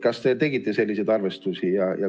Kas te tegite selliseid arvestusi?